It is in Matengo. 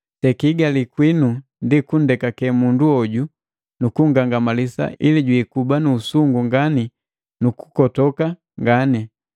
Sekihigali kwinu ndi kundekake mundu hoju nu kungangamalisa ili jwikuba nu usungu ngani nukukotoka ngani.